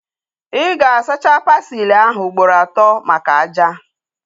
Ị ga-asacha pasili ahu ugboro atọ maka ájá